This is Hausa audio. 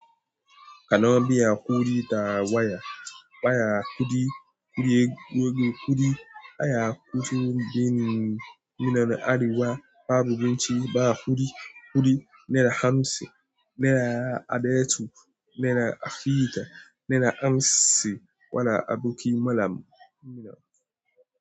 Kana biyan kuɗi ta waya? Waya kuɗi, kuɗi, kuɗi. Waya kuɗi, muna nan arewa babu abinci ba kuɗi. Kuɗi naira hamsin, naira adatu, naira akita, naira hamsin. Wana aboki malam.